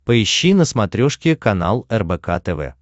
поищи на смотрешке канал рбк тв